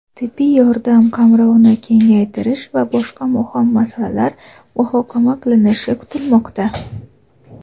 tibbiy yordam qamrovini kengaytirish va boshqa muhim masalalar muhokama qilinishi kutilmoqda.